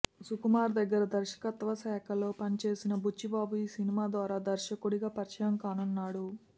సుకుమార్ దగ్గర దర్శకత్వ శాఖలో పనిచేసిన బుచ్చిబాబు ఈ సినిమా ద్వారా దర్శకుడిగా పరిచయం కానున్నాడు